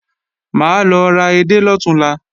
Mà á lọ ra edé lọ̀túnla